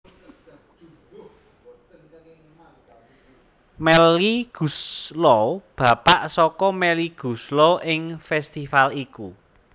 Melky Goeslaw bapa saka Melly Goeslaw ing festifal iku